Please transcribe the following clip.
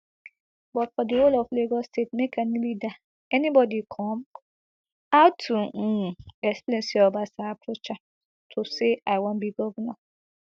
but for di whole of lagos state make any leader anybody come out to um explain say obasa approach am to say i wan be govnor